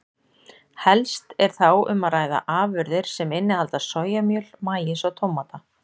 Helst er þá um að ræða afurðir sem innihalda sojamjöl, maís og tómata.